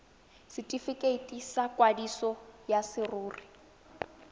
setifikeiti sa kwadiso ya serori